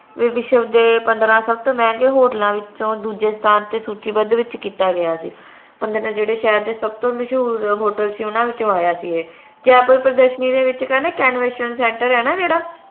ਵਿਸ਼ਵ ਦੇ ਪੰਦ੍ਰਹ ਸਬਤੋ ਮੰਹਗੇ ਪੰਦਰਾਂ ਹੋਟਲਾਂ ਵਿੱਚੋ ਦੂਜੇ ਸਥਾਨ ਤੇ ਸੂਚੀਬੱਧ ਵਿਚ ਕੀਤਾ ਗਿਆ ਸੀ ਉਹਨਾਂ ਦੇ ਜਿਹੜੇ ਸ਼ਹਿਰ ਦੇ ਸਬਤੋ ਮਸ਼ਹੂਰ ਹੋਟਲ ਸੀ ਓਹਨਾ ਵਿੱਚੋ ਆਯਾ ਸੀ ਏ ਜੈਪੁਰ ਪ੍ਰਦਰਸ਼ਨੀ ਦੇ ਵਿਚ ਕਹਿੰਦੇ convention center ਏ ਨਾ ਜੇਹੜਾ